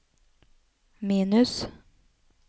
minus